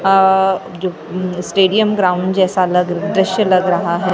अ जो उम्म stadium ground जैसा लग दृश्य लग रहा है ।